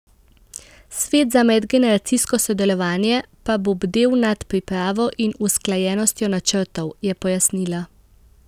Svet za medgeneracijsko sodelovanje pa bo bdel nad pripravo in usklajenostjo načrtov, je pojasnila.